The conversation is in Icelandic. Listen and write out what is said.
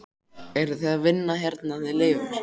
Eruð þið að vinna hérna þið Leifur?